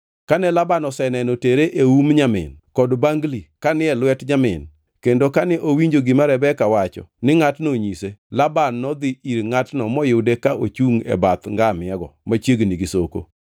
Kane Laban oseneno tere e um nyamin kod bangli ka ni e lwet nyamin kendo kane owinjo gima Rebeka wacho ni ngʼatno onyise, Laban nodhi ir ngʼatno moyude ka ochungʼ e bath ngamia-go machiegni gi soko.